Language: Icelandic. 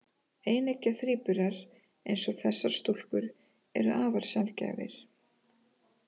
Eineggja þríburar, eins og þessar stúlkur, eru afar sjaldgæfir.